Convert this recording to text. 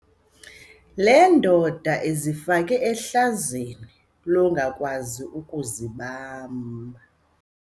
Le ndoda izifake ehlazweni longakwazi ukuzibamba.